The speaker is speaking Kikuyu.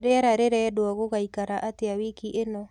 rĩera rirendwo gugaikara atĩa wiki ino